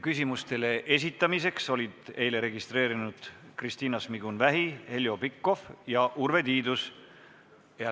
Küsimuste esitamiseks olid eile registreerunud Kristina Šmigun-Vähi, Heljo Pikhof ja Urve Tiidus.